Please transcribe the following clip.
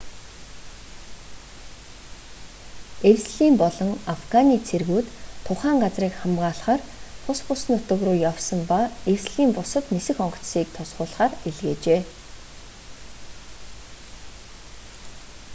эвслийн болон афганы цэргүүд тухайн газрыг хамгаалахаар тус бүс нутаг руу явсан ба эвслийн бусад нисэх онгоцыг туслуулахаар илгээжээ